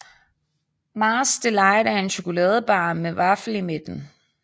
Mars Delight er en chokoladebar med vaffel i midten